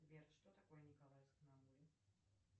сбер что такое николаевск на амуре